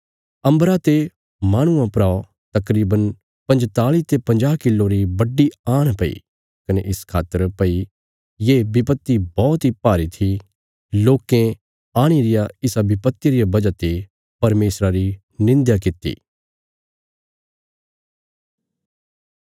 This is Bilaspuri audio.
अम्बरा ते माहणुआं परा तकरीवन पंजताल़ी ते पंजाह किलो री बड्डी आण पई कने इस खातर भई ये विपत्ति बौहत इ भारी थी लोकें आणीं रिया इसा विपत्तिया रिया वजह ते परमेशरा री निंध्या कित्ती